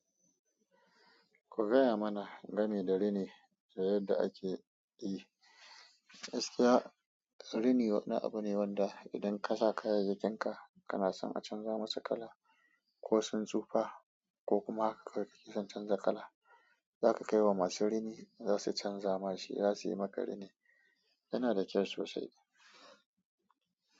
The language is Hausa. Ku gaya mana gami da rini da yadda ake yi. Gaskiya rini wani abu ne wanda idan kasa kayayyakin ka, kana son a canza musu kala, ko sun tsufa ko kuma ka ki son canza kala. Za ka kai wa masu rini za su canza ma shi. Za su yi maka rini. Yana da kyau sosai.